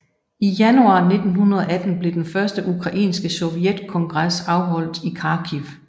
I januar 1918 blev den første ukrainske sovjetkongres afholdt i Kharkiv